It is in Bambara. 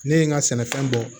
Ne ye n ka sɛnɛfɛn bɔ